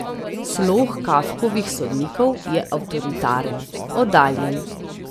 Slog Kafkovih sodnikov je avtoritaren, oddaljen.